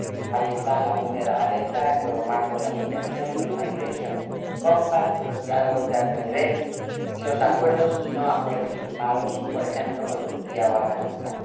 Ahí están la cumbre de La Valeta, el nuevo marco de asociación, los pactos sobre migración, los diálogos de alto nivel y los acuerdos y no acuerdos firmados, por ejemplo, con Turquía o Afganistán.